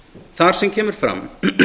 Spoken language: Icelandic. þar sem kemur fram